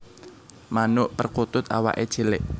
Manuk perkutut awaké cilik